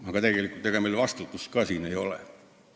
Aga ega meil tegelikult vastutust ka ei ole.